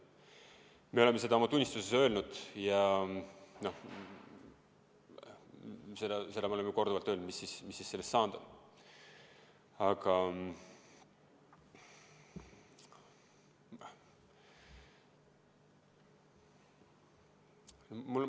Me oleme seda oma tunnistuses öelnud ja seda me oleme korduvalt öelnud, mis siis sellest saanud on.